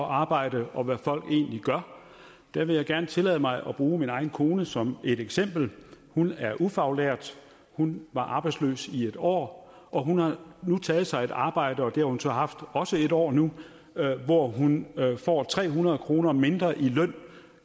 arbejde og hvad folk egentlig gør der vil jeg gerne tillade mig at bruge min egen kone som et eksempel hun er ufaglært hun var arbejdsløs i et år og hun har nu taget sig et arbejde og det har hun så haft også et år nu hvor hun får tre hundrede kroner mindre i løn